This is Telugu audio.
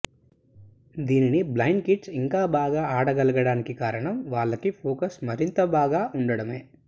దీనిని బ్లైండ్ కిడ్స్ ఇంకా బాగా ఆడగలగడానికి కారణం వాళ్లకి ఫోకస్ మరింత బాగా ఉండడమే